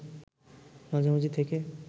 মাঝামাঝি থেকে